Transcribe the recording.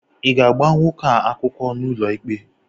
Ị ga-agba nwoke ahụ akwụkwọ n'ụlọikpe?